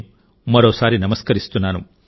దేశప్రజల కృషికి నేను మరోసారి నమస్కరిస్తున్నాను